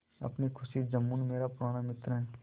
अपनी खुशी जुम्मन मेरा पुराना मित्र है